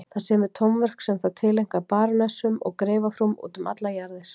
Það semur tónverk sem það tileinkar barónessum og greifafrúm út um allar jarðir.